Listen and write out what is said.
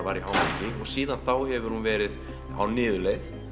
var í hámarki síðan þá hefur hún verið á niðurleið